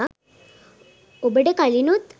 ඔබට කලිනුත්